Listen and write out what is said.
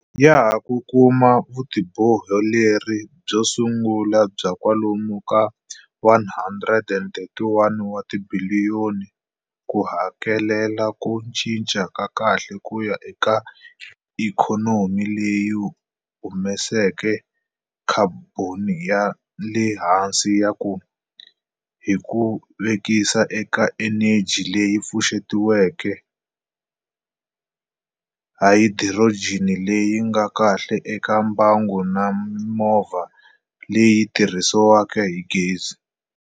Ya ha ku kuma vutiboheleri byo su ngula bya kwalomu ka R131 wa tibiliyoni ku hakelela ku cinca ka kahle kuya eka ikhonomi leyi humesaka khaboni ya le hansi hi ku vekisa eka eneji leyi pfuxetiwaka, hayidirojeni leyi nga kahle eka mbangu na mimovha leyi tirhisaka gezi.